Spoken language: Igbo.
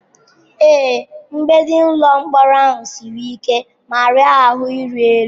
Ee, mgbidi ụlọ mkpọrọ ahụ siri ike ma raa ahụ ịrị elu.